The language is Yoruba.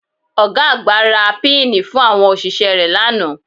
Ọ̀ga àgbà ra píìnì fún àwọn òṣìṣẹ́ rẹ̀ lánàá